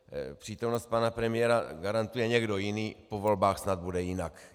Přítomnost pana premiéra garantuje někdo jiný, po volbách snad bude jinak.